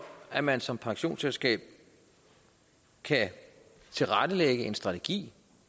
at man som pensionsselskab kan tilrettelægge en strategi